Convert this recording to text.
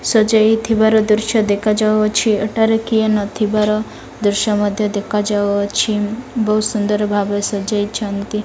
ସଯେଇ ଥିବାର ଦୃଶ୍ୟ ଦେଖାଯାଉ ଅଛି ଏଠାରେ କିଏ ନଥିବାର ଦୃଶ୍ୟ ମଧ୍ୟ ଦେଖାଯାଉ ଅଛି ବହୁତ୍ ସୁନ୍ଦର ଭାବେ ସଯେଇଛନ୍ତି।